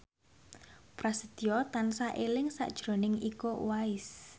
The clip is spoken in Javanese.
Prasetyo tansah eling sakjroning Iko Uwais